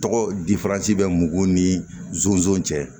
Tɔgɔ di bɛ mɔgɔw ni zonzan cɛ